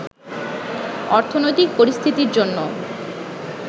অর্থনৈতিক পরিস্থিতির জন্য